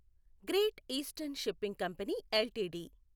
great Eastern Shipping Company LTD